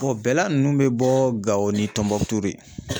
bɛla ninnu bɛ bɔ Gao ni Tombouctou de.